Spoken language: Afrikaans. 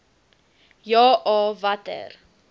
ja a watter